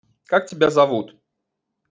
как тебя зовут